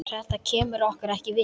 Þetta kemur okkur við.